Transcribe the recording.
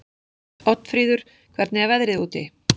Oddfríður, hvernig er veðrið úti?